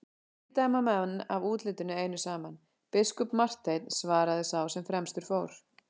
Ekki dæma menn af útlitinu einu saman, biskup Marteinn, svaraði sá sem fremstur fór.